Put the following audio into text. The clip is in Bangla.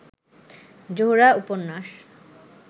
জোহরা উপন্যাস